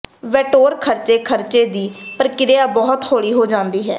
vetoed ਖਰਚੇ ਖਰਚੇ ਦੀ ਪ੍ਰਕਿਰਿਆ ਬਹੁਤ ਹੌਲੀ ਹੋ ਜਾਂਦੀ ਹੈ